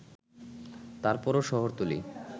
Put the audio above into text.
তারপরও শহরতলী